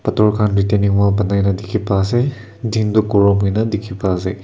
pathor khan boani na dekhi pai ase din tu groom hoi kina dekhi pai ase.